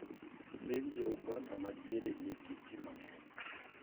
piny jouganda madiere nigi ji mang'eny.